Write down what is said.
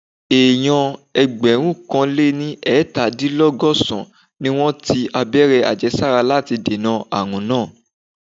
Èèyàn ẹgbẹ̀rúnkanléniẹ́tàdínlọ́gọ̀sán-án ni wọ́n ti abẹ́rẹ́ àjẹsára láti dènà àrùn náà